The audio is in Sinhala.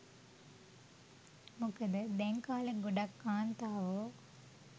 මොකද දැන් කාලෙ ගොඩක් කාන්තාවො